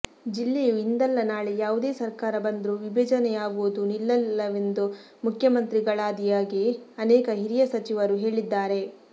ಜಿಲ್ಲೆಯು ಇಂದಲ್ಲ ನಾಳೆ ಯಾವುದೇ ಸರ್ಕಾರ ಬಂದ್ರೂ ವಿಭಜನೆ ಯಾಗೋದು ನಿಲ್ಲಲ್ಲವೆಂದು ಮುಖ್ಯಮಂತ್ರಿಗಳಾದಿಯಾಗಿ ಅನೇಕ ಹಿರಿಯ ಸಚಿವರು ಹೇಳಿದ್ದಾರೆ